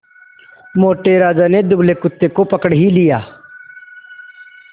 मोटे राजा ने दुबले कुत्ते को पकड़ ही लिया